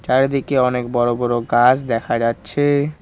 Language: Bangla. চারিদিকে অনেক বড়ো বড়ো গাছ দেখা যাচ্ছে-এ।